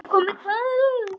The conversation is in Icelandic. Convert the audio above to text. Það er komið kvöld.